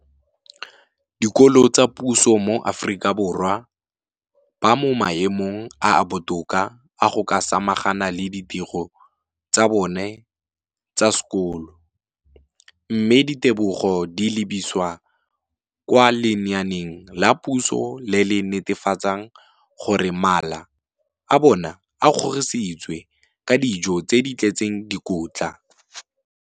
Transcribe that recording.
dikolo tsa puso mo Aforika Borwa ba mo maemong a a botoka a go ka samagana le ditiro tsa bona tsa sekolo, mme ditebogo di lebisiwa kwa lenaaneng la puso le le netefatsang gore mala a bona a kgorisitswe ka dijo tse di tletseng dikotla.